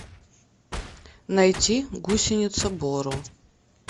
найти гусеница боро